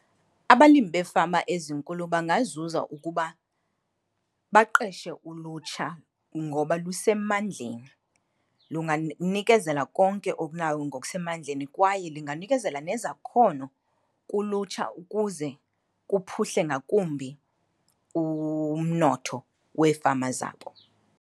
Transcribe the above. Abalimi beefama ezinkulu bangazuza ukuba baqeshe ulutsha ngoba lusemandleni, nikezela konke okunawo ngokusemandleni kwaye linganikezela nezakhono kulutsha ukuze kuphuhle ngakumbi umnotho weefama zabo.